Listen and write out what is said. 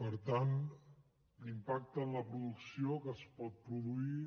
per tant l’impacte en la producció que es pot produir